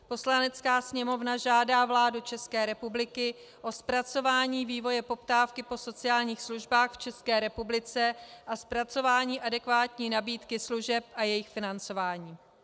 Poslanecká sněmovna žádá vládu České republiky o zpracování vývoje poptávky po sociálních službách v České republice a zpracování adekvátní nabídky služeb a jejich financování.